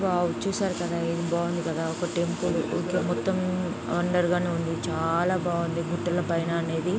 Wow చూసారు కదా ఇది బాగుంది కదా ఒక టెంపుల్ ఓకే మొత్తం అండర్ గానే ఉంది. చాలా బాగుంది గుట్టల పైన అనేది--